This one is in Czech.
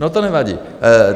No to nevadí.